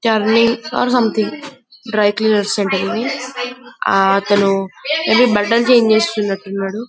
అర్ something dry cleaner centre ఇది అతను maybe బట్టలు చేంజ్ చేస్తున్నట్టు ఉన్నాడు.